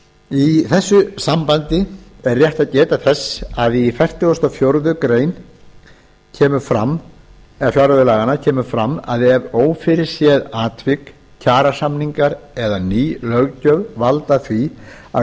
í þessu sambandi er rétt að geta þess að í fertugustu og fjórðu grein kemur fram að ef ófyrirséð atvik kjarasamningar eða ný löggjöf valda því að